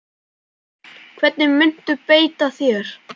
Hvernig muntu beita þér?